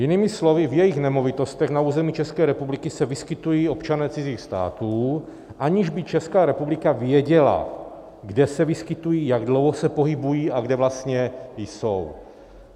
Jinými slovy, v jejich nemovitostech na území České republiky se vyskytují občané cizích států, aniž by Česká republika věděla, kde se vyskytují, jak dlouho se pohybují a kde vlastně jsou.